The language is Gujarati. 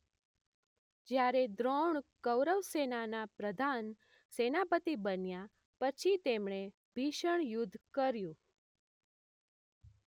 જ્યારે દ્રોણ કૌરવસેનાના પ્રધાન સેનાપતી બન્યા પછી તેમણે ભીષણ યુદ્ધ કર્યું.